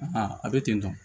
Aa a bɛ ten tɔ